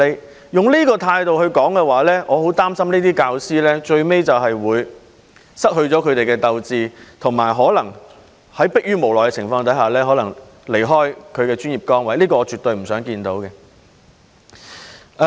如果用這種態度來處理事情的話，我很擔心這些教師最後會失去鬥志，並可能在逼於無奈的情況下離開他們的專業崗位，這是我絕對不想看到的。